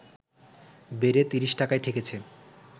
বেড়ে ৩০টাকায় ঠেকেছে